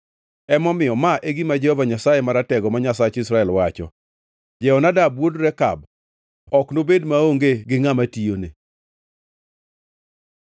Emomiyo, ma e gima Jehova Nyasaye Maratego, ma Nyasach Israel, wacho: ‘Jehonadab wuod Rekab ok nobed maonge gi ngʼama tiyone.’ ”